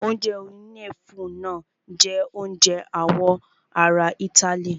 Oúnjẹ oníyẹ̀fun náà jẹ oúnjẹ àwọn ará itály.